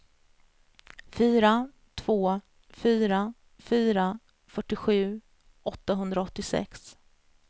fyra två fyra fyra fyrtiosju åttahundraåttiosex